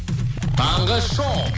таңғы шоу